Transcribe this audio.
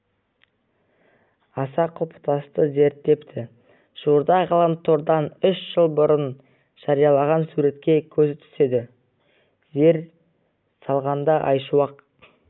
аса құлпытасты зерттепті жуырда ғаламтордан үш жыл бұрын жарияланған суретке көзі түседі зер салғанда айшуақ